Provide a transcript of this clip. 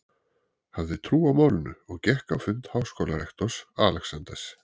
hafði trú á málinu og gekk á fund háskólarektors, Alexanders